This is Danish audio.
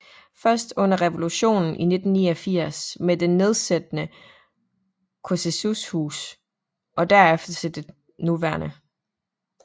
Først under revolutionen i 1989 med det nedsættende Ceauşescus Hus og derefter til det nuværende